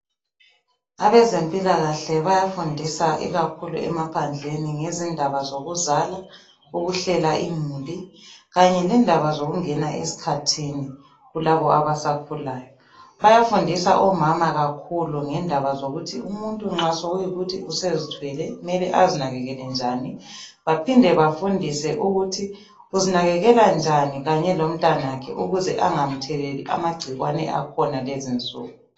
Abezempilakahle bayafundisa ikakhulu emaphandleni ngezindaba zokuzala, ukuhlela imuli kanye lendaba zokungena esikhathini kulabo abasakhulayo. Bayafundisa omama kakhulu ngendaba zokuthi umuntu nxa sekuyikuthi usezithwele kumele azinakekele njani baphinde bafundise ukuthi uzinakekela njani kanye lomntanakhe ukuze angamtheleli amagcikwane akhona kulezi insuku.